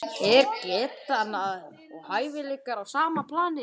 Er getan og hæfileikar á sama plani?